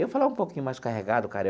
Eu falava um pouquinho mais carregado, cara.